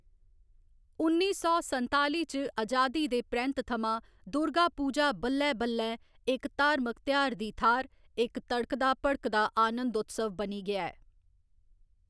उ'न्नी सौ संताली च आजादी दे परैंत्त थमां दुर्गा पूजा बल्लैं बल्लैं इक धार्मक त्यौहार दी थाह्‌‌‌र इक तड़कता भड़कदा आनंदोत्सव बनी गेआ ऐ।